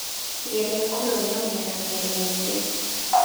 Geria kũrũgamia na mĩri mĩingĩ.